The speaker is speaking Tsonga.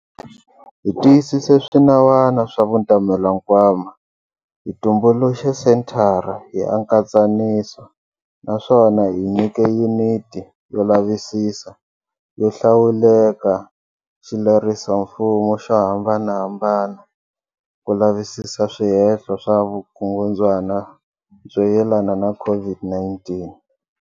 Hi tiyise swinawana swa Vutamelankwama, hi tumbuluxe Senthara ya Nkatsaniso naswona hi nyike Yuniti yo Lavisisa yo Hlawuleka xilerisomfumo xo hambanahambana ku lavisisa swihehlo swa vukungundzwana byo yelana na COVID-19.